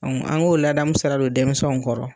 an k'o ladamu sira don denmisɛnw kɔrɔ.